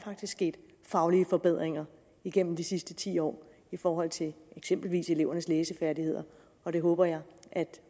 sket faglige forbedringer igennem de sidste ti år i forhold til eksempelvis eleverne læsefærdigheder og det håber jeg at